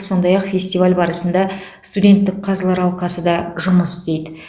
сондай ақ фестиваль барысында студенттік қазылар алқасы да жұмыс істейді